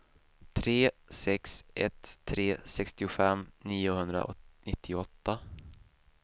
tre sex ett tre sextiofem niohundranittioåtta